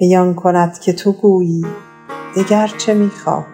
وی آن کند که تو گویی دگر چه می خواهی